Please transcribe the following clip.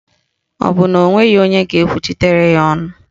Ọ bụ na o nweghị onye ga-ekwuchitere ya ọnụ